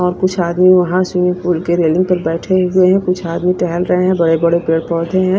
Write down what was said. और कुछ आदमी वहां स्विमिंग पूल के रेलिंग पर बैठे हुए हैं कुछ आदमी टहल रहे हैं बड़े-बड़े पेड़ पौधे हैं।